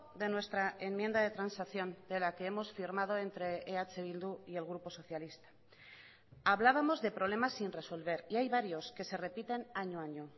de nuestra enmienda de transacción de la que hemos firmado entre eh bildu y el grupo socialista hablábamos de problemas sin resolver y hay varios que se repiten año a año